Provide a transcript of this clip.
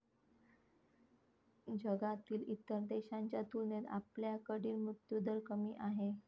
जगातील इतर देशांच्या तुलनेत आपल्याकडील मृत्यूदर कमी आहे.